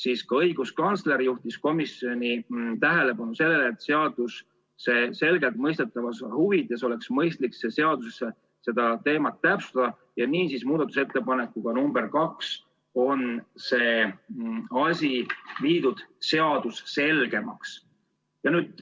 Aga ka õiguskantsler juhtis komisjoni tähelepanu sellele, et seaduse selgelt mõistetavuse huvides oleks mõistlik seaduses seda küsimust täpsustada, ja muudatusettepanekuga nr 2 ongi see seaduses selgemini kirja pandud.